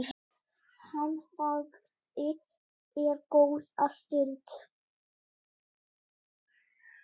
Hann þagði enn góða stund.